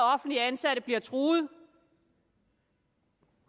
offentligt ansatte bliver truet